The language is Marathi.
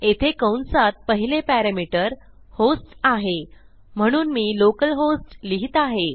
येथे कंसात पहिले पॅरॅमीटर होस्ट आहे म्हणून मी लोकलहोस्ट लिहित आहे